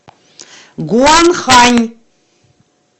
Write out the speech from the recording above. гуанхань